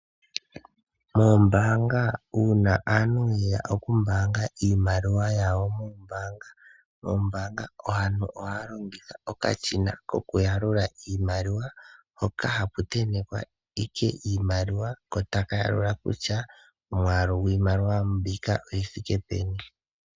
Oombanga uuna aantu yeya okumbaanga iimaliwa yawo moombaanga , aantu ohaya longitha okashina koku yalula iimaliwa hoka haku ntentekwa Ike iimaliwa ko taka yalula kutya omwaalu gwiimaliwa mbika oyi thike peni .